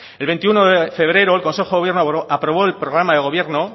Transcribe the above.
el veintiuno de febrero el consejo de gobierno aprobó el programa de gobierno